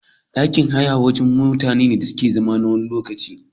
Ɗakin haya wajene wanda mutane ke iya zauna nawani lokacin